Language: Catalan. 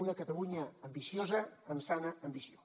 una catalunya ambiciosa amb sana ambició